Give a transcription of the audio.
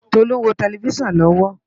Tolu n wó tèlèfisán lòwò